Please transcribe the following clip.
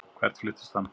Hvert fluttist hann?